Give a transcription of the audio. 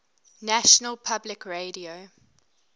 national public radio